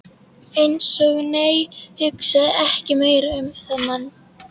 Eins og- nei, hugsa ekki meira um þann mann!